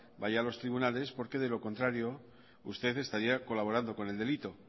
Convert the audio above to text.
vaya a los tribunales porque de lo contrario usted estaría colaborando con el delito